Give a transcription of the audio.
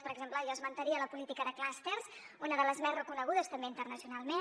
per exemple jo esmentaria la política de clústers una de les més reconegudes també internacionalment